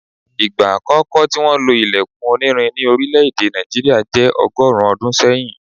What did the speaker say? Ìgbà àkókò tí wọ́n lo ilẹkun onírin ní orílẹ̀ èdè Nàìjíríà jẹ́ bi ọgọ́rùn-ún ọdún sẹ́yìn